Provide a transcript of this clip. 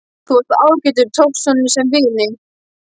Þú varst ágætur, tókst honum sem vini.